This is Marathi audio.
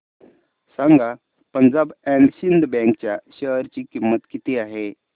सांगा पंजाब अँड सिंध बँक च्या शेअर ची किंमत किती आहे